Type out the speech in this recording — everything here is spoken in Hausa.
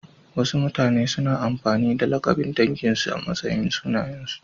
Wasu mutane suna amfani da lakabin danginsu a matsayin sunayensu.